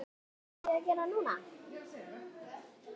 Syni sjö.